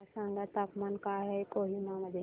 मला सांगा तापमान काय आहे कोहिमा मध्ये